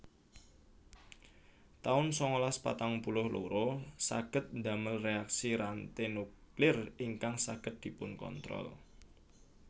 taun sangalas patang puluh loro Saged ndamel reaksi ranté nuklir ingkang saged dipunkontrol